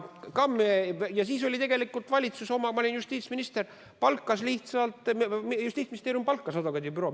Ja siis tegelikult valitsus – ma olin justiitsminister – või Justiitsministeerium palkas advokaadibüroo.